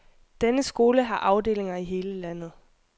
Denne skole har afdelinger i hele landet.